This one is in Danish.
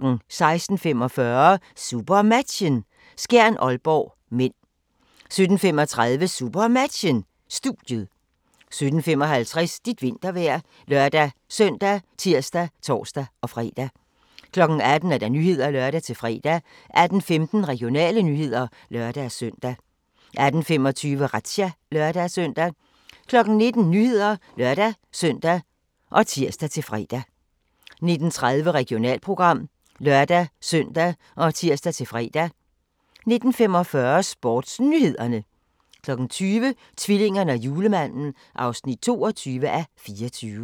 16:45: SuperMatchen: Skjern-Aalborg (m) 17:35: SuperMatchen: Studiet 17:55: Dit vintervejr ( lør-søn, tir, tor-fre) 18:00: Nyhederne (lør-fre) 18:15: Regionale nyheder (lør-søn) 18:25: Razzia (lør-søn) 19:00: Nyhederne (lør-søn og tir-fre) 19:30: Regionalprogram (lør-søn og tir-fre) 19:45: SportsNyhederne 20:00: Tvillingerne og julemanden (22:24)